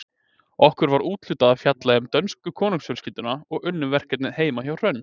Okkur var úthlutað að fjalla um dönsku konungsfjölskylduna og unnum verkefnið heima hjá Hrönn.